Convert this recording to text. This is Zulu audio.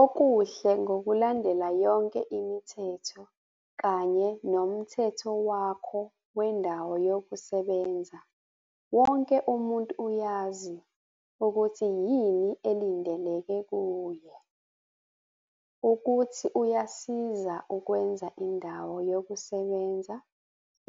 Okuhle ngokulandela yonke imithetho kanye nomthetho wakho wendawo yokusebenza wonke umuntu uyazi ukuthi yini elindelekile kuye, ukuthi uyasiza ukwenza indawo yokusebenza